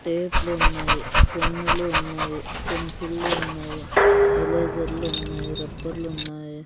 టేట్లు ఉన్నాయి పెన్నులు ఉన్నాయి పెన్సిళ్లు ఉన్నాయి ఎలేజర్లు ఉన్నాయి రబ్బర్లు ఉన్నాయి.